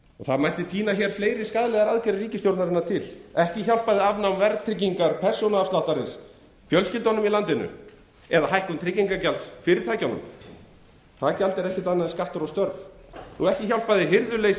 það mætti tína til fleiri skaðlegar aðgerðir ríkisstjórnarinnar ekki hjálpaði afnám verðtryggingar persónuafsláttarins fjölskyldunum í landinu eða hækkun tryggingagjalds fyrirtækjunum það gjald er ekkert annað en skattur á störf og ekki hjálpaði hirðuleysi